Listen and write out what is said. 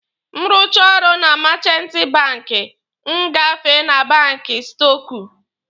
M rụchaa ọrụ na meechanti banki, m gafee na banki stọkụ.